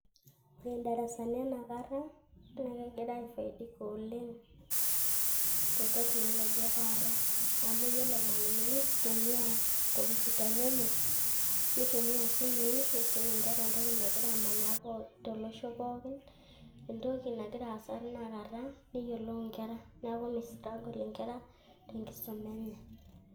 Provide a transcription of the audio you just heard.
Ore idarasani enakata, na kegira aifaidika oleng' te technology etaata. Amu yiolo ilmalimuni neitumia nkompitani enye, neitumia isimui neisum inkera entoki pookin nagira amanaa tolosho pookin. Entoki nagira aasa tinakata neyiolou nkera. Neeku mi struggle inkera tenkisuma enye.